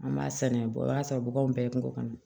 An b'a saniya bɔ o y'a sɔrɔ bukanw bɛɛ ye kungo kɔnɔ